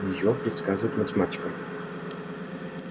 её предсказывает математика